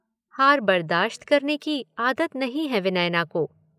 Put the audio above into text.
हार बर्दाश्त करने की आदत नहीं है विनयना को।